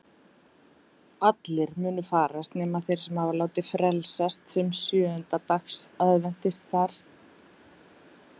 Allir munu farast nema þeir sem hafa látið frelsast sem sjöunda dags aðventistar.